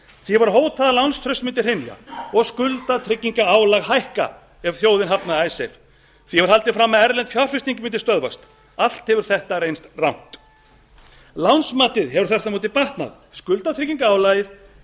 því var hótað að lánstraust mundi hrynja og skuldatryggingarálag hækka ef þjóðin hafnaði icesave því var haldið fram að erlend fjárfesting mundi stöðvast allt hefur þetta reynst rangt lánsmatið hefur þvert á móti batnað skuldatryggingarálagið